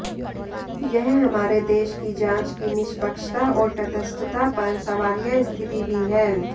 यह हमारे देश की जांच की निष्पक्षता और तटस्थता पर सवालिया स्थिति भी है